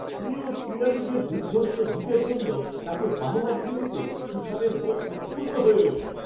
প্রিয় ক্রীড়াবিদের দুর্ধর্ষ জিতের জন্য তাকে বাহবা দিতে দিতে সুসানের মন উৎফুল্ল হয়ে ওঠে।